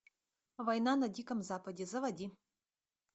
война на диком западе заводи